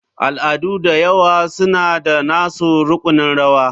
Al'adu da yawa suna da nasu rukunin rawa.